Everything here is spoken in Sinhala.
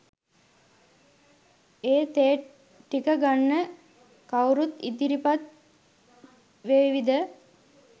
ඒ තේ ටික ගන්න කව්රුත් ඉදිරිපත් වේවිද?